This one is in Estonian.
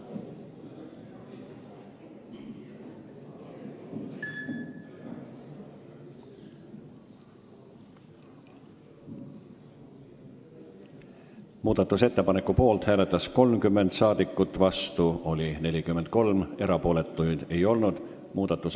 Hääletustulemused Muudatusettepaneku poolt hääletas 30 rahvasaadikut, vastu oli 43, erapooletuid ei olnud.